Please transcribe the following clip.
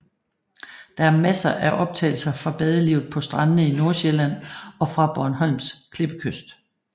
Der er masser af optagelser fra badelivet på strandene i Nordsjælland og fra Bornholms klippekyst